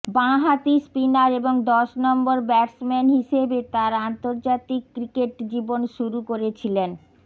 বাঁ হাতি স্পিনার এবং দশ নম্বর ব্যাটসম্যান হিসেবে তাঁর আন্তর্জাতিক ক্রিকেট জীবন শুরু করেছিলেন